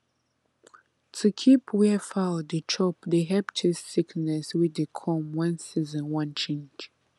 to keep where foul dey chop dey help chase sickness wey dey come when season wan change